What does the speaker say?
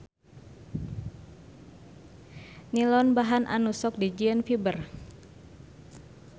Nilon bahan anu sok dijieun fiber.